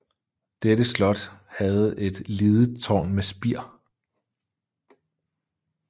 Dette Slot havde et lidet Taarn med Spiir